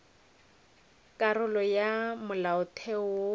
karolo ya ya molaotheo wo